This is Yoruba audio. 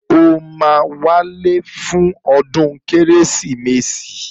Ṣé o máa wálé fún ọdún Kérésìmesì?